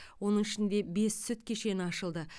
оның ішінде бес сүт кешені ашылды